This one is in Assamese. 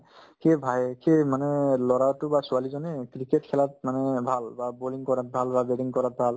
কিয়ে bhai কি মানে ল'ৰাটো বা ছোৱালীজনী cricket খেলাত মানে ভাল বা bowling কৰাত ভাল বা batting কৰাত ভাল